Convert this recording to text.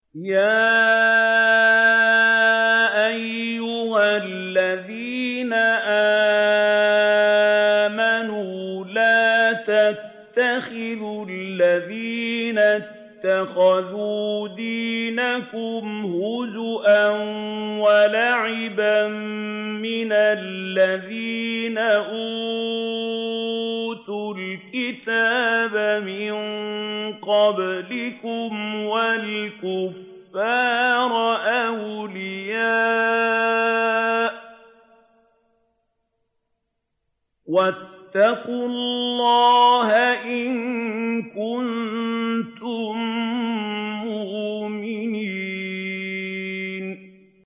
يَا أَيُّهَا الَّذِينَ آمَنُوا لَا تَتَّخِذُوا الَّذِينَ اتَّخَذُوا دِينَكُمْ هُزُوًا وَلَعِبًا مِّنَ الَّذِينَ أُوتُوا الْكِتَابَ مِن قَبْلِكُمْ وَالْكُفَّارَ أَوْلِيَاءَ ۚ وَاتَّقُوا اللَّهَ إِن كُنتُم مُّؤْمِنِينَ